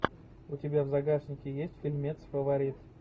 у тебя в загашнике есть фильмец фаворит